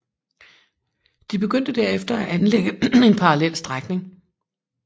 De begyndte derefter at anlægge en parallel strækning